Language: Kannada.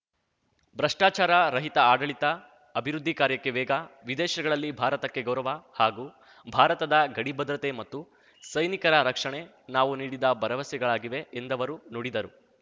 ಭ್ರಷ್ಟಾಚಾರ ರಹಿತ ಆಡಳಿತ ಅಭಿವೃದ್ಧಿ ಕಾರ್ಯಕ್ಕೆ ವೇಗ ವಿದೇಶಗಳಲ್ಲಿ ಭಾರತಕ್ಕೆ ಗೌರವ ಹಾಗೂ ಭಾರತದ ಗಡಿಭದ್ರತೆ ಮತ್ತು ಸೈನಿಕರ ರಕ್ಷಣೆ ನಾವು ನೀಡಿದ ಭರವಸೆಗಳಾಗಿವೆ ಎಂದವರು ನುಡಿದರು